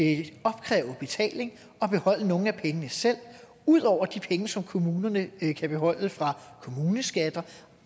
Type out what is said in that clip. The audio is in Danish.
at opkræve betaling og beholde nogle af pengene selv ud over de penge som kommunerne kan beholde fra kommuneskatter